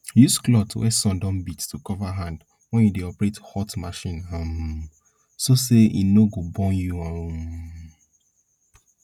use cloth wey sun don beat to cover hand wen you dey operate hot machine um so say e no go burn you um